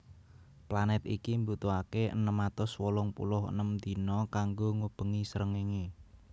Planèt iki mbutuhaké enem atus wolung puluh enem dina kanggo ngubengi srengéngé